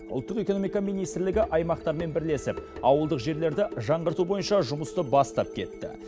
ұлттық экономика министрлігі аймақтармен бірлесіп ауылдық жерлерді жаңғырту бойынша жұмысты бастап кетті